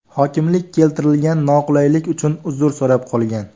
Hokimlik keltirilgan noqulaylik uchun uzr so‘rab qolgan.